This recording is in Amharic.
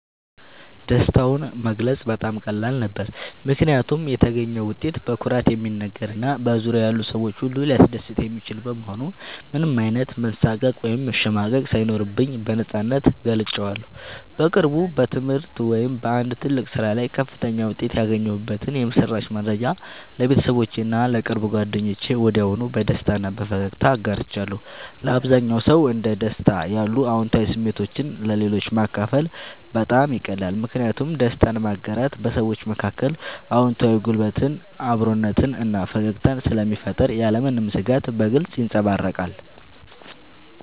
ደስታውን መግለጽ በጣም ቀላል ነበር፦ ምክንያቱም የተገኘው ውጤት በኩራት የሚነገር እና በዙሪያዬ ያሉ ሰዎችን ሁሉ ሊያስደስት የሚችል በመሆኑ ምንም አይነት መሳቀቅ ወይም መሸማቀቅ ሳይኖርብኝ በነፃነት ገልጬዋለሁ። በቅርቡ በትምህርት ወይም በአንድ ትልቅ ስራ ላይ ከፍተኛ ውጤት ያገኘሁበትን የምስራች መረጃ ለቤተሰቦቼ እና ለቅርብ ጓደኞቼ ወዲያውኑ በደስታ እና በፈገግታ አጋርቻለሁ። ለአብዛኛው ሰው እንደ ደስታ ያሉ አዎንታዊ ስሜቶችን ለሌሎች ማካፈል በጣም ይቀላል። ምክንያቱም ደስታን ማጋራት በሰዎች መካከል አዎንታዊ ጉልበትን፣ አብሮነትን እና ፈገግታን ስለሚፈጥር ያለምንም ስጋት በግልጽ ይንጸባረቃል።